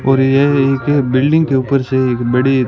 और यह एक बिल्डिंग के ऊपर से एक बड़ी--